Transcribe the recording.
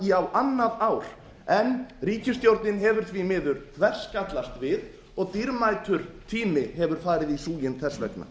í á annað ár en ríkisstjórnin hefur því miður þverskallast við og dýrmætur tími hefur farið í súginn þess vegna